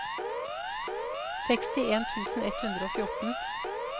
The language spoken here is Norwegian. sekstien tusen ett hundre og fjorten